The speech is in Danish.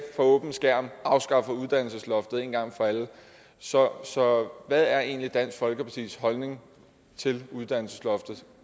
for åben skærm afskaffer uddannelsesloftet en gang for alle så så hvad er egentlig dansk folkepartis holdning til uddannelsesloftet